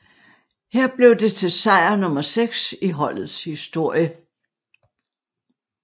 Her blev det til sejr nummer 6 i holdets historie